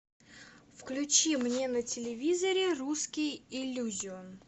включи мне на телевизоре русский иллюзион